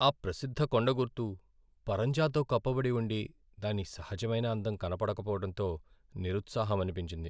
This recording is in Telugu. ఆ ప్రసిద్ధ కొండగుర్తు పరంజాతో కప్పబడి ఉండి, దాని సహజమైన అందం కనపడకపోవడంతో నిరుత్సాహమనిపించింది.